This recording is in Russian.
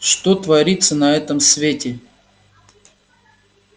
что творится на этом свете